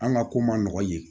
An ka ko ma nɔgɔ ye